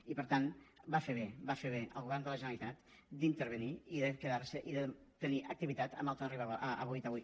i per tant va fer bé va fer bé el govern de la generalitat d’intervenir i de quedar se i de tenir activitat a boí taüll